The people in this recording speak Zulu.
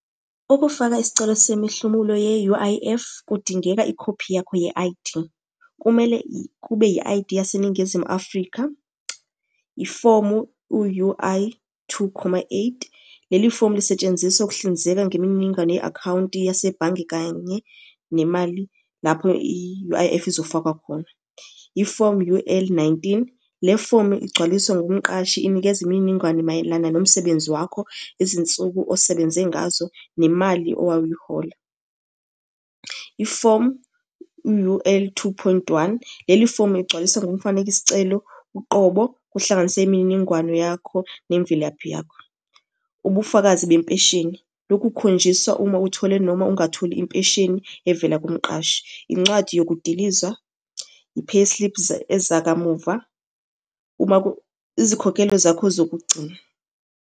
Ukufaka isicelo semihlomulo ye-U_I_F, kudingeka ikhophi yakho, ye-I_D. Kumele kube yi-I_D yaseNingizimu Afrika. Ifomu u-U_I two khoma eight. Leli fomu lisetshenziswa ukuhlinzeka ngemininingwane ye-akhawunti yasebhange kanye nemali lapho i-U_I_F izofakwa khona. Ifomu U_L nineteen, le fomu igcwaliswa nomqashi, inikeza imininingwane mayelana nomsebenzi wakho, izinsuku osebenze ngazo, nemali owawuyihola. Ifomu u-U_L two point one, leli fomu uyigcwalisa ngomfaneki sicelo uqobo. Kuhlanganise imininingwano yakho nemvelaphi yakho. Ubufakazi bempesheni, lokhu kukhonjiswa uma uthole noma ungatholi impesheni evela kumqashi. Incwadi yokudilizwa, i-payslips, ezakamuva izikhokhelo zakho zokugcina.